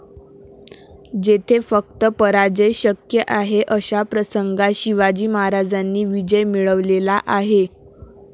जेथे फक्त पराजय शक्य आहे अशा प्रसंगात शिवाजी महाराजांनी विजय मिळवलेला आहे.